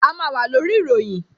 A máa wà lórí ìròyìn